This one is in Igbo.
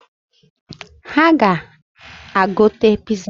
Ha ga-agote piza